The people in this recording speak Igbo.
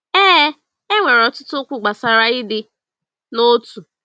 Ee, e nwere ọtụtụ okwu gbasara ịdị n’otu.